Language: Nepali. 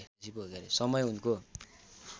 समय उनको